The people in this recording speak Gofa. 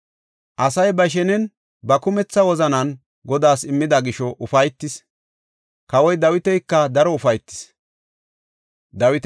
Asay ba shenen ba kumetha wozanan Godaas immida gisho ufaytis; kawoy Dawitika daro ufaytis.